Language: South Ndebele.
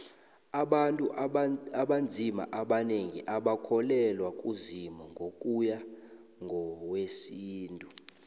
abantu abanzima abanengi abakholelwa kuzimu ngokuya ngowesintu